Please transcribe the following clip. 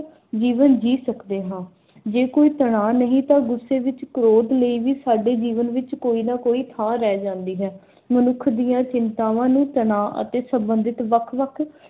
ਜੀਵਨ ਜੀ ਸਕਦੇ ਹਾਂ। ਜੇ ਕੋਈ ਤਣਾਅ ਨਹੀਂ ਤਾਂ ਗੁੱਸੇ ਵਿਚ ਕ੍ਰੋਧ ਲਈ ਵੀ ਸਾਡੇ ਜੀਵਨ ਵਿਚ ਕੋਈ ਨਾ ਕੋਈ ਥਾਂ ਰਹਿ ਜਾਂਦੀ ਹੈ। ਮਨੁੱਖ ਦੀਆਂ ਚਿੰਤਾਵਾਂ ਨੂੰ ਤਣਾਅ ਅਤੇ ਸੰਬੰਧਿਤ ਵੱਖ-ਵੱਖ